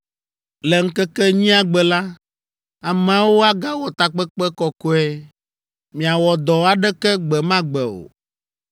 “Le ŋkeke enyia gbe la, ameawo agawɔ takpekpe kɔkɔe. Miawɔ dɔ aɖeke gbe ma gbe o.